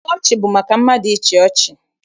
Mkpa ọchị bụ maka mmadụ ịchị ọchị.